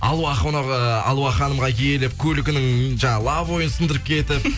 алуа қонағы алуа ханымға келіп көлігінің жаңа лобовойын сындырып кетіп